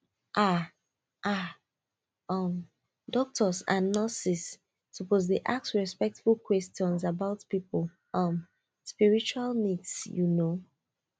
ah ah um doctors and nurses suppose dey ask respectful questions about people um spiritual needs you know